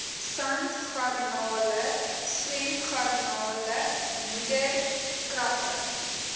sandgarnale swemgarnale modderkrappe